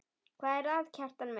Hvað er að, Kjartan minn?